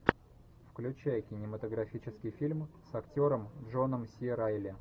включай кинематографический фильм с актером джоном си райли